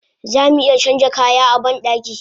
Zamu iya canja kaya a bandaki